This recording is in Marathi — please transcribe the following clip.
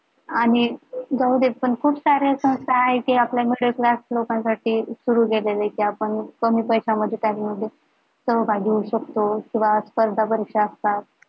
आणि जाऊदे पण खूप साऱ्या संस्था आहे कि आपल्या middle class लोकांसाठी सुरु केलेले कि आपण कमी पैसे मध्ये सहभागी होऊ शकतो किंवा स्पर्धा परीक्षा असतात